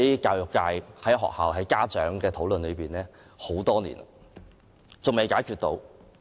教育界、學校和家長已圍繞這項爭議討論多年，但仍未解決。